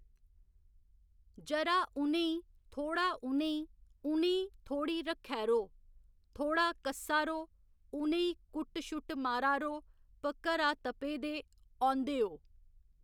जरा उ'नें ई थोह्ड़ा उ'नें ई उ'नें ई थोह्ड़ी रक्खै रो थोह्ड़ा कस्सा रो उ'नें ई कुट्ट शुट्ट मारा रो प घरा तपे दे औंदे ओह्।